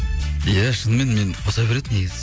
иә шынымен мені қоса береді негізі